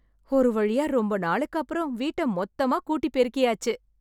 ஒரு வழியா ரொம்ப நாளுக்கு அப்புறம் வீட்டை மொத்தம் கூட்டி பெருக்கியாச்சு.